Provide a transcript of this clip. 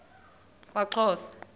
kwaxhosa